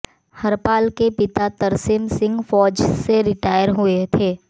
हरपाल के पिता तरसेम सिंह फौज से रिटायर हुए थे